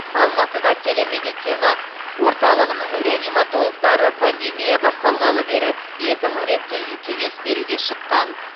алматыда телемедицина орталығының реаниматологтары пандемия басталғалы бері екі мың рет кез кеңес беруге шыққан